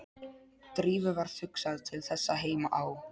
Drífu varð hugsað til þess að heima á